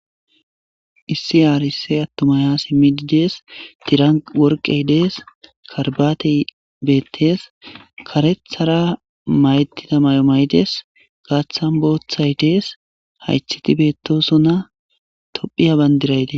Issi adusse attumay ha simmidi deesi. Tiran worqey deesi. Karabatey beettes kareththara mayettida mayo mayides, gaaththan booththay deesi hayththeti beettosona tophphiya bandiray deesi.